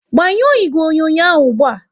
Gbanyuo ìgwè onyonyo ahụ ụgbụa!